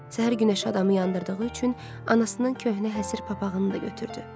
Səhər günəşi adamı yandırdığı üçün anasının köhnə həsir papağını da götürdü.